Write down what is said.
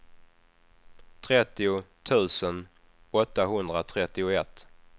trettio tusen åttahundratrettioett